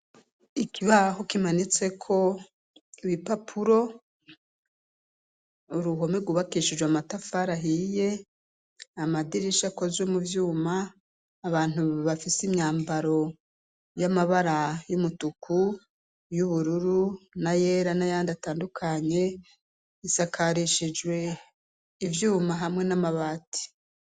Ikibaho kimanitse ko ibipapuro, uruhome gubakishijwe amatafari ahiye, amadirisha akozwe mu vyuma ,abantu bafise imyambaro y'amabara y'umutuku, y'ubururu, na yera n'ayandi atandukanye isakarishijwe ivyuma hamwe n'amabati.